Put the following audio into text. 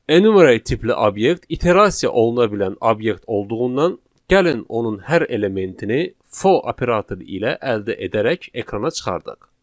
Enumerate tipli obyekt iterasiya oluna bilən obyekt olduğundan, gəlin onun hər elementini for operatoru ilə əldə edərək ekrana çıxardıq.